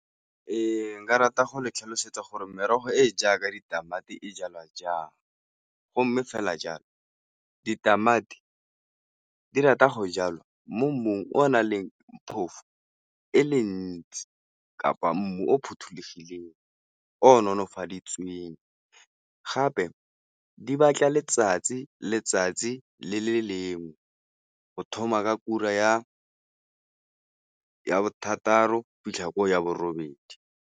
Ee, nka rata go le tlhalosetsa gore merogo e e jaaka ditamati e jalwa jang go mme fela jalo ditamati di rata go jalwa mo mmung o o nang le phofu e le ntsi kapa mmu o phothulogileng, o nolofaditsweng gape di batla letsatsi. Letsatsi le le go thoma ka ura ya bothataro go fitlha ko ya bo robedi.